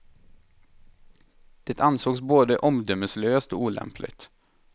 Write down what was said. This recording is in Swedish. Det ansågs både omdömeslöst och olämpligt.